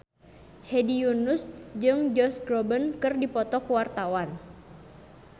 Hedi Yunus jeung Josh Groban keur dipoto ku wartawan